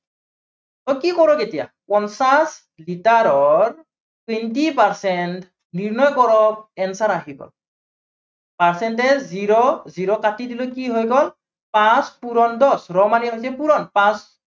so কি কৰিম এতিয়া। পঞ্চাশ লিটাৰৰ twenty percent নিৰ্ণয় কৰক answer আহিব। percentage zero, zero কাটি দিলো কি হৈ গল, পাঁচ পূৰণ দহ। ৰ মানে হৈছে পূৰণ।